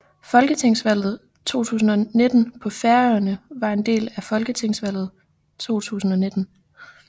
Folketingsvalget 2019 på Færøerne var en del af folketingsvalget 2019